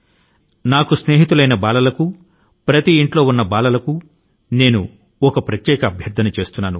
నా చిన్న యువ స్నేహితులైన ప్రతి ఇంటి పిల్లల కు ఈ రోజు న నేను ఒక ప్రత్యేక అభ్యర్థన ను చేస్తున్నాను